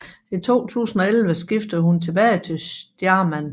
I 2011 skiftede hun tilbage til Stjarnan